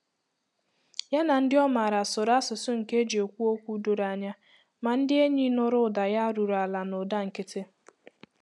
Ya na ndị ọ maara sụrụ asụsụ nke eji ekwụ okwu doro anya, ma ndị enyi nụrụ ụda ya ruru ala na ụda nkịtị.